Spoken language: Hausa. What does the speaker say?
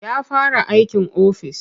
Ya fara aikin ofis.